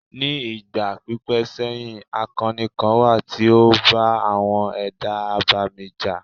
Ní ìgbà pípẹ́ sẹ́yìn, akọni kan wà tí ó bá àwọn ẹ̀dá abàmì jà.